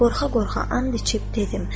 Qorxa-qorxa and içib dedim: